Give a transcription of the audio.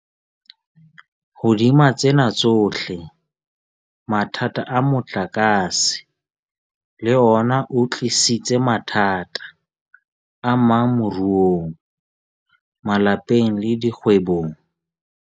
Hodima tsena tsohle, mathata a motlakase le ona a tlisitse mathata amang moruong, malapeng le dikgwebong.